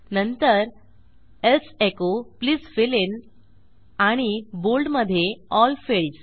नंतर else echo please fill in आणि bold मधे एल फील्ड्स